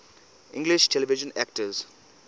english television actors